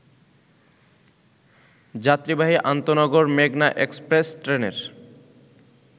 যাত্রীবাহী আন্তঃনগর মেঘনা এক্সপ্রেস ট্রেনের